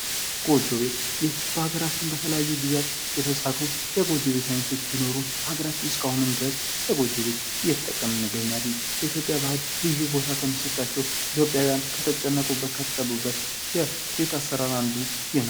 ጎጆ ቤት ይህ በሀገራችን በተለያዩ ጊዜያት የተሰሩ የጎጆ ቤት አይነቶች ቢኖሩም በሀገራችን እስከ አሁንም ድረስ በጎጆ ቤት እየተጠቀምነን እንገኛለን። በኢትዮጵያ ባህል ልዩ ቦታ ከሚሰጣቸው ኢትዮጵያውያን ከተጨነቁበት ከተጠበቡበት የቤት አሰራር አንዱ ይሄ ነው ።